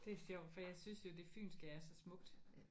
Det er sjovt for jeg synes jo det fynske er så smukt